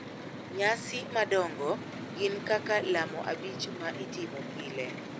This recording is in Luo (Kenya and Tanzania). Nyasi madongo gin kaka lamo abich ma itimo pile,